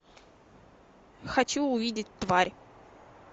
хочу увидеть тварь